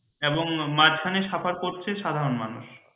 এবং মাঝখানে suffer করছে সাধারণ মানুষ